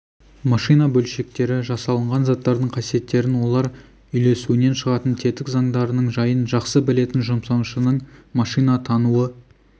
машина бөлшектері жасалынған заттардың қасиеттерін олар үйлесуінен шығатын тетік заңдарының жайын жақсы білетін жұмсаушының машина тануы